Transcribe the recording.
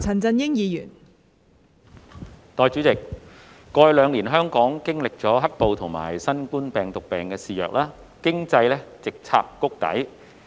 代理主席，過去兩年，香港經歷"黑暴"及新冠病毒病肆虐，經濟直插谷底。